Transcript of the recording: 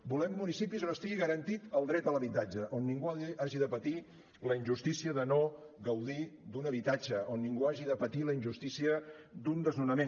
volem municipis on estigui garantit el dret a l’habitatge on ningú hagi de patir la injustícia de no gaudir d’un habitatge on ningú hagi de patir la injustícia d’un desnonament